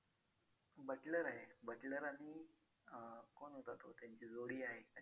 Buttler आहे. butler आणि अं कोण होता तो त्यांची जोडी आहे